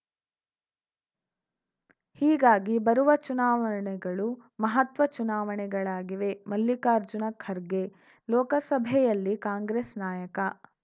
ಹೀಗಾಗಿ ಬರುವ ಚುನಾವಣೆಗಳು ಮಹತ್ವ ಚುನಾವಣೆಯಾಗಿವೆ ಮಲ್ಲಿಕಾರ್ಜುನ ಖರ್ಗೆ ಲೋಕಸಭೆಯಲ್ಲಿ ಕಾಂಗ್ರೆಸ್‌ ನಾಯಕ